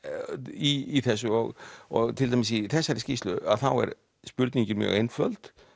í þessu og og til dæmis í þessari skýrslu að þá er spurningin mjög einföld